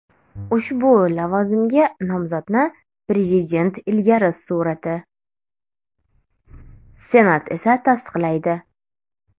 Ushbu lavozimga nomzodni prezident ilgari surati, Senat esa tasdiqlaydi.